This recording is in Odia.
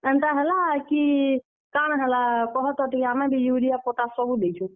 ଏନ୍ତା ହେଲା କି, କାଣା ହଲା, କହତ ଟିକେ , ଆମେ ବି ୟୁରିଆ ପଟାସ ସବୁ ଦେଇଛୁଁ।